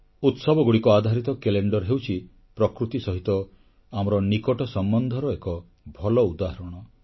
ଉତ୍ସବଗୁଡ଼ିକ ଆଧାରିତ କ୍ୟାଲେଣ୍ଡର ହେଉଛି ପ୍ରକୃତି ସହିତ ଆମର ନିକଟ ସମ୍ବନ୍ଧର ଏକ ଭଲ ଉଦାହରଣ